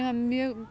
mjög